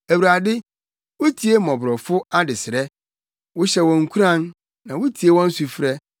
Awurade, wutie mmɔborɔfo adesrɛ; wohyɛ wɔn nkuran, na wutie wɔn sufrɛ,